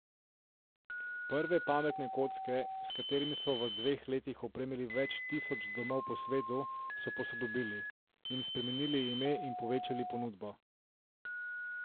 Prve pametne kocke, s katerimi so v dveh letih opremili več tisoč domov po svetu, so posodobili, jim spremenili ime in povečali ponudbo.